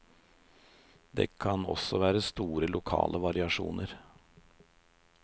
Det kan også være store lokale variasjoner.